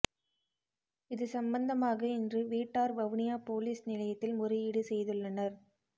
இது சம்பந்தமாக இன்று வீட்டார் வவுனியா பொலிஸ் நிலையத்தில் முறையீடு செய்துள்னர்